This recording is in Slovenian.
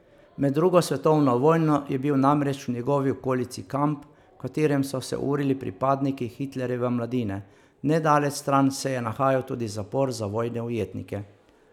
Med drugo svetovno vojno je bil namreč v njegovi okolici kamp, v katerem so se urili pripadniki Hitlerjeve mladine, nedaleč stran se je nahajal tudi zapor za vojne ujetnike.